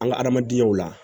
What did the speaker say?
An ka adamadenyaw la